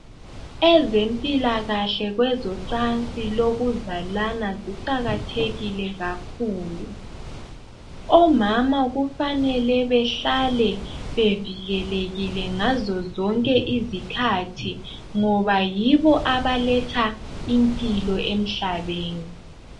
Ezempilakahle kwezocansi lokuzalana ziqakathekile kakhulu. Omama kufanele behlale bevikelekile ngazo zonke izikhathi ngoba yibo abaletha impilo emhlabeni.